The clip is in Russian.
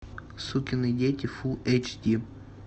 сукины дети фулл эйч ди